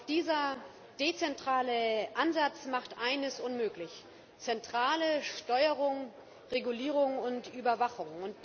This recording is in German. Doch dieser dezentrale Ansatz macht eines unmöglich zentrale Steuerung, Regulierung und Überwachung.